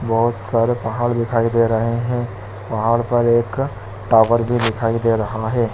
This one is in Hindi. बोहत सारे पहाड़ दिखाई दे रहें हैंपहाड़ पर एक टावर भी दिखाई दे रहा है।